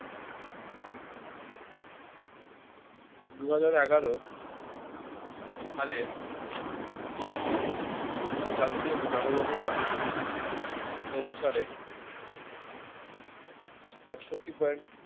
দুহাজার এগারো সালের জাতীয় জনগণনা অনুসারে আটষট্টি point